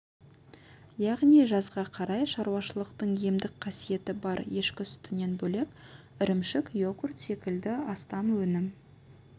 яғни жазға қарай шаруашылықтың емдік қасиеті бар ешкі сүтінен бөлек ірімшік йогурт секілді астам өнім